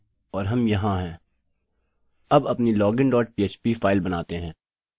refresh करें और हम यहाँ हैं